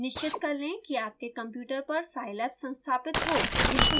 निश्चित कर लें कि आपके कंप्यूटर पर scilab संस्थापित हो